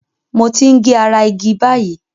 Mo ń ge ara igi báyìí.